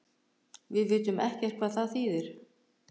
Við vitum ekkert hvað það þýðir